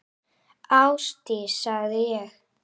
Ásdís, sagði ég.